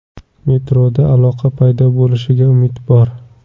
Metroda aloqa paydo bo‘lishiga umid bor.